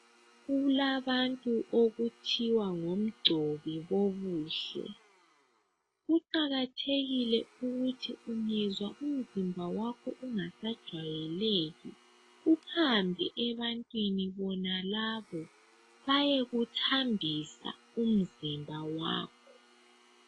Kulabantu okuthiwa ngomgcobi bokuhle. Kuqakathekile ukuthi ungezwa umzimba wakho ungasajwayeleki. Uhambe ebantwini bonalabo. Bayekuthambisa umzimba wakho.